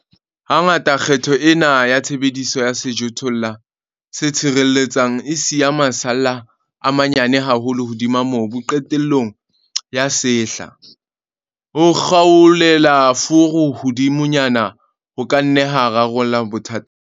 Hangata kgetho ena ya tshebediso ya sejothollo se tshireletsang e siya masalla a manyane haholo hodima mobu qetellong ya sehla. Ho kgaolela furu hodimonyana ho ka nna ha rarolla bothata bona.